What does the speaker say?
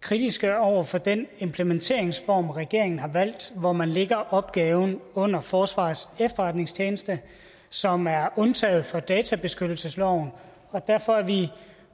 kritiske over for den implementeringsform regeringen har valgt hvor man lægger opgaven under forsvarets efterretningstjeneste som er undtaget fra databeskyttelsesloven og derfor er vi